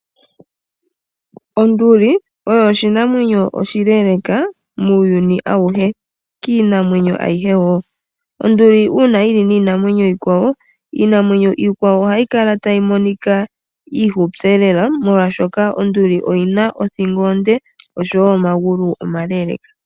Onduli oyo oshinamwenyo oshileeleka muuyuni awuhe kiinamwenyo ayihe wo . Onduli uuna yili niinamwenyo iikwawo , iinamwenyo iikwawo ohayi kala tayi monika iifupi lela molwaashoka onduli oyina othingo onde nomagulu omale.